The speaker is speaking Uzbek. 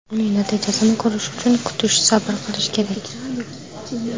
Uning natijasini ko‘rish uchun kutish, sabr qilish kerak.